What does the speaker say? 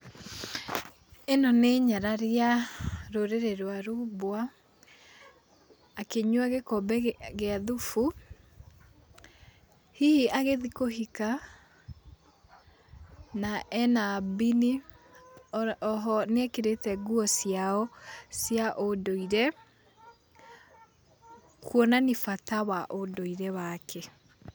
Ĩno nĩ nyarari ya rũrĩrĩ rwa rumbwa, akĩnyua gĩkombe gĩa thubu, hihi agĩthĩi kũhika, na ena mbini, oho nĩekĩrĩte nguo ciao cia ũndũire kuonania bata wa ũndũire wake